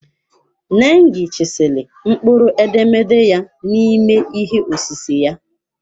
Nengi chiseled mkpụrụ edemede ya n'ime ihe osise ya.